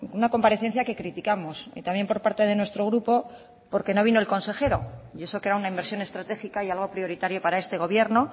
una comparecencia que criticamos y también por parte de nuestro grupo porque no vino el consejero y eso que era una inversión estratégica y algo prioritario para este gobierno